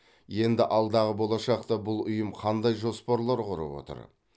енді алдағы болашақта бұл ұйым қандай жоспарлар құрып отыр